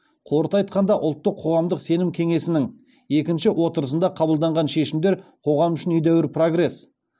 қорыта айтқанда ұлттық қоғамдық сенім кеңесінің екінші отырысында қабылданған шешімдер қоғам үшін едәуір прогресс